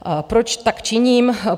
Proč tak činím?